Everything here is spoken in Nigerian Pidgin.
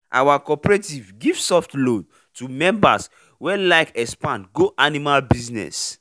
our cooperative give soft loan to members wey like expand go animal business